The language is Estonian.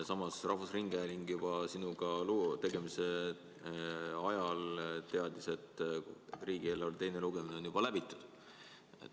Samas, rahvusringhääling teadis juba sinuga loo tegemise ajal, et riigieelarve teine lugemine on läbitud.